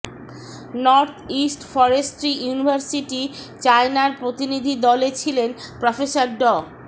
north east forestry university চায়নার প্রতিনিধি দলে ছিলেন প্রফেসর ড